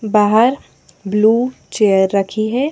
बाहरब्लू chair रखी है।